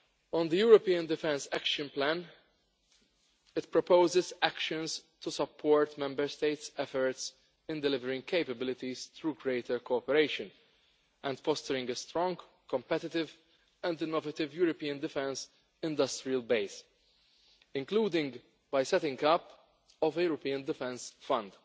On the European Defence Action Plan, it proposes actions to support Member States' efforts in delivering capabilities through greater cooperation and fostering a strong, competitive and innovative European defence industrial base, including by setting up a European Defence Fund.